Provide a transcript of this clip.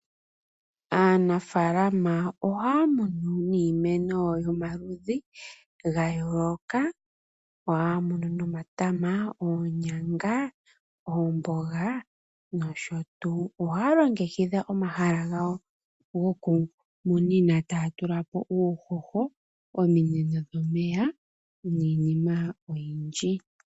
Aanafaalama ohaya munu niimeno yomaludhi gayooloka. Ohaya munu nomatama, oonyanga, oomboga nosho tyu. Ohaya longekidha omahala gawo gokumunina taya tula po uuhoho, ominino dhomeya niinima oyindji.